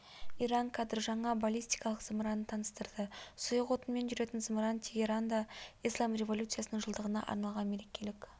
иран кадр жаңа баллистикалық зымыранын таныстырды сұйық отынмен жүретін зымыран тегеранда ислам революциясының жылдығына арналған мерекелік